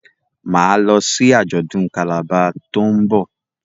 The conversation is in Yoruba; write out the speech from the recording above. Ma lọ sí ajọdun Calabar to'n nbọ.